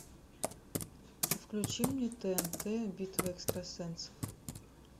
включи мне тнт битва экстрасенсов